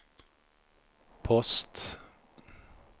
post